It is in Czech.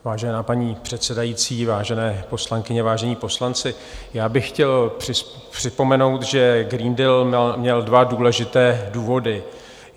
Vážená paní předsedající, vážené poslankyně, vážení poslanci, já bych chtěl připomenout, že Green Deal měl dva důležité důvody.